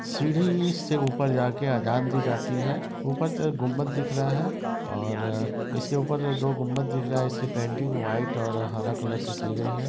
यह पूरी लोहे की रॉड लगी हुई है बाहर शेड बना हुआ है लोहे का एक इसमें साइड में प्लास्टिक की चेयर रखी है। इसके जो दरवाजे हैं वो नीले रंग में हैं|